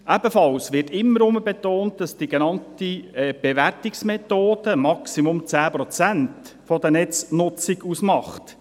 Ebenfalls wird immer wieder betont, dass die genannte Bewertungsmethode im Maximum 10 Prozent der Netznutzung ausmacht.